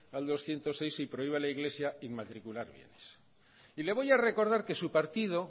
al doscientos seis y prohíbe a la iglesia inmatricular bienes y le voy a recordar que su partido